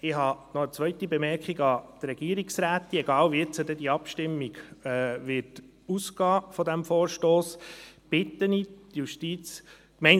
– Ich habe noch eine zwei te Bemerkung an die Regierungsrätin, unabhängig davon wie die Abstimmung zu diesem Vorstoss ausgehen wird.